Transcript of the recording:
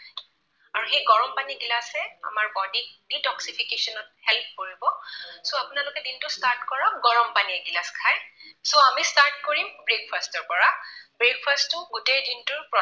আৰু সেই গৰম পানী গিলাচে আমাৰ body ক detoxification ত help কৰিব so আপোনালোকে দিনটো start কৰক গৰম পানী এগিলাচ খাই। so আমি start কৰিম breakfast ৰ পৰা। breakfast টো গোটেই দিনটোৰ